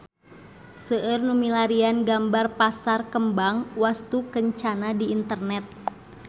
Seueur nu milarian gambar Pasar Kembang Wastukencana di internet